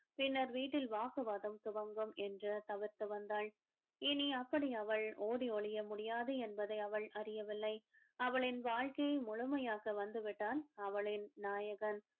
பின்னர் வீட்டில் வாக்குவாதம் துவங்கும் என்று தவிர்த்து வந்தாள் இனி அப்படி அவள் ஓடி ஒளிய முடியாது என்பதை அவள் அறியவில்லை அவளின் வாழ்க்கையை முழுமையாக வந்துவிட்டான் அவளின் நாயகன்